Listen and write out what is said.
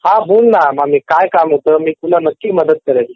हा बोल ना मामी काय काम होतं मी तुला नक्की मदत करेन